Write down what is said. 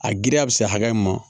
A giriya bɛ se hakɛ ma